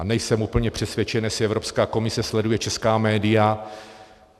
A nejsem úplně přesvědčen, jestli Evropská komise sleduje česká média.